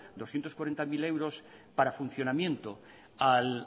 doscientos cuarenta mil euros para funcionamiento